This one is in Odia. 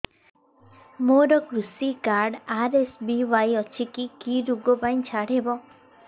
ମୋର କୃଷି କାର୍ଡ ଆର୍.ଏସ୍.ବି.ୱାଇ ଅଛି କି କି ଋଗ ପାଇଁ ଛାଡ଼ ହବ